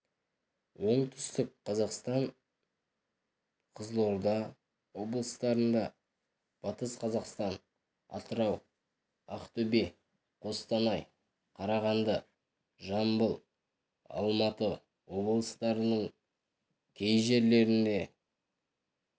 оңтүстік қазақстан қызылорда облыстарында батыс қазақстан атырау ақтөбе қостанай қарағанды жамбыл алматы облыстарының кей жерлерінде